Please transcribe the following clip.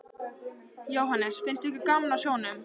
Jóhannes: Finnst ykkur gaman á sjónum?